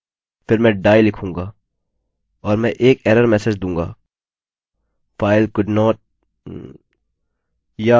और मैं एक एरर मेसेज दूँगा file couldnt